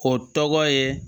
O tɔgɔ ye